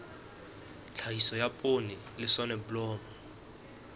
tlhahiso ya poone le soneblomo